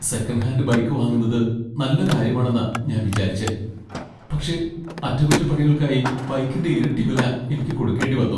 Second hand bike വാങ്ങുന്നത് നല്ല കാര്യമാണെന്നാ ഞാൻ വിചാരിച്ചെ , പക്ഷേ അറ്റകുറ്റപ്പണികൾക്കായി ബൈക്കിന്റെ ഇരട്ടി വില എനിക്ക് കൊടുക്കേണ്ടി വന്നു .